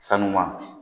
Sanu